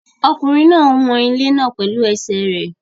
Ọkùnrin náà ń wọn ilẹ̀ náà pẹ̀lú ẹsẹ̀ rẹ̀.